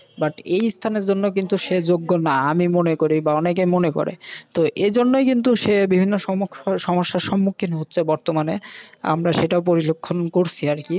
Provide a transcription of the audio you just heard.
But এইস্থানের জন্য কিন্তু যোগ্য না আমি মনে করি বা অনেকে মনে করে। তো এইজন্যই কিন্তু সে বিভিন্ন সমুখ সমস্যার সম্মুখীন হচ্ছে বর্তমানে আমরা সেটা পরিলক্ষন করসি আর কি।